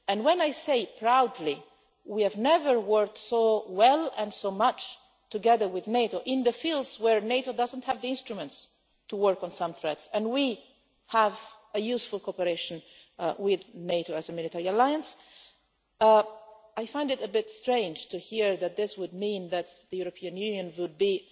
When I say proudly that we have never worked so well and so much together with NATO in the fields where NATO doesn't have the instruments to work on some threats, and that we have useful cooperation with NATO as a military alliance, I find it a bit strange to hear that this would mean that the European Union would